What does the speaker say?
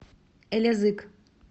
элязыг